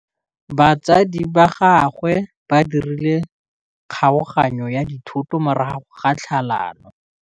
Batsadi ba gagwe ba dirile kgaoganyô ya dithoto morago ga tlhalanô.